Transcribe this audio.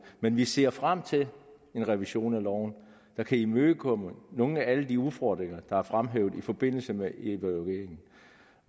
men vi ser frem til en revision af loven der kan imødegå nogle af alle de udfordringer der er fremhævet i forbindelse med evalueringen